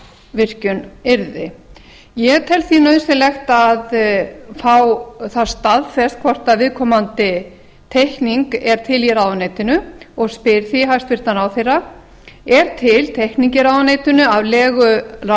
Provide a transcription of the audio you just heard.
virkjun yrði ég tel það nauðsynlegt að fá það staðfest hvort viðkomandi teikning er til í ráðuneytinu og spyr því er til teikning í ráðuneytinu af legu